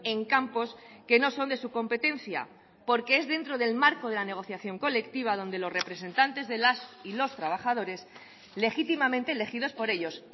en campos que no son de su competencia porque es dentro del marco de la negociación colectiva donde los representantes de las y los trabajadores legítimamente elegidos por ellos